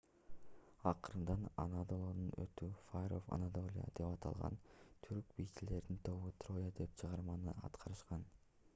акырында анадолунун оту fire of anadolia деп аталган түрк бийчилеринин тобу троя деген чыгарманы аткарышкан